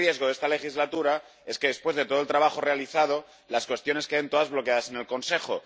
Y un riesgo de esta legislatura es que después de todo el trabajo realizado todas las cuestiones queden bloqueadas en el Consejo.